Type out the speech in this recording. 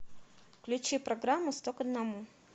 включи программу сто к одному